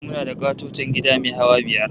Muna da ƙatoton gida mai hawa biyar